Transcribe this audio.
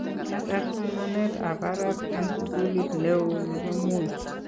kiatar somanetab barak eng' sukulit neoo nebo Moi